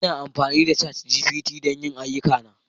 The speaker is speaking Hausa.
Ina amfani da ChatGPT don yin duk ayyukana